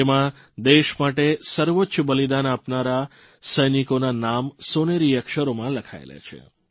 તેમાં દેશ માટે સર્વોચ્ચ બલિદાન આપનારા સૈનિકોના નામ સોનેરી અક્ષરોમાં લખાયેલા છે